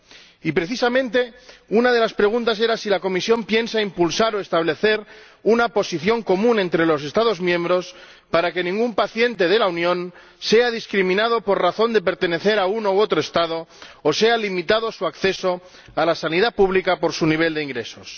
Y precisamente una de las preguntas era si la Comisión piensa impulsar o establecer una posición común entre los Estados miembros para que ningún paciente de la Unión sea discriminado por razón de pertenecer a uno u otro Estado, o vea limitado su acceso a la sanidad pública por su nivel de ingresos.